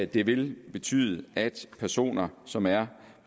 det vil betyde at personer som er